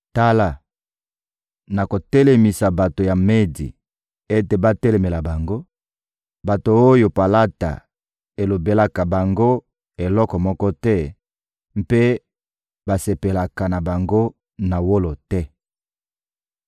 Tala, nakotelemisa bato ya Medi ete batelemela bango, bato oyo palata elobelaka bango eloko moko te mpe basepelaka na bango na wolo te.